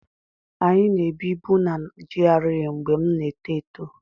Anyị na-ebibu na GRA mgbe m na-eto eto